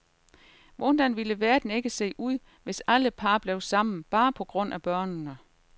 Hvordan ville verden ikke se ud, hvis alle par blev sammen, bare på grund af børnene.